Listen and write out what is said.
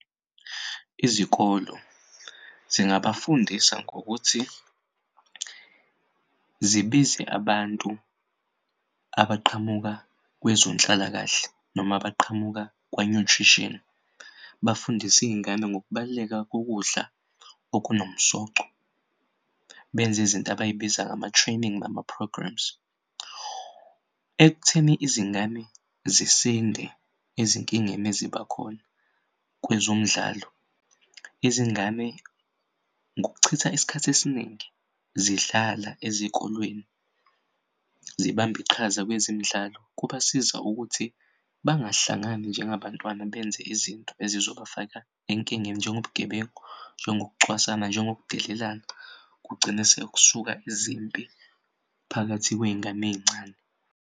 Izikolo zingafundisa ngokuthi zibize abantu abaqhamuka kwezenhlalakahle noma abaqhamuka kwa-nutrition bafundi'iy'ngane ngokubaluleka kokudla okunomsoco benzizinto abayibiza ngama-training nama-programmes ekutheni izingane ziyasinde ezinkingeni ezibakhona kwezomdlalo. Izingane ngokuchitha isikhathi esiningi zidlala ezikolweni zibamb'iqhaza kwezemidlalo kubasiza ukuthi bangahlangani njengabantwana benze izinto ezizobafaka enkingeni njengo bugebengu, njengokucwasana, nje ngokudelelana. Kugcine sekusuka izimpi phakathi kwey'ngane ey'ncane.